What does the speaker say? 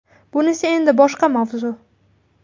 Bunisi endi boshqa mavzu .